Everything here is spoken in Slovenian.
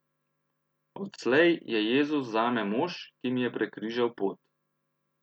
Odslej je Jezus zame mož, ki mi je prekrižal pot.